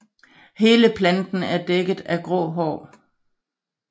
Hele planten er dækket af grå hår